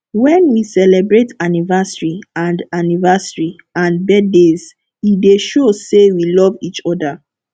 when we celebrate anniversary and anniversary and birthdays e dey show sey we love each oda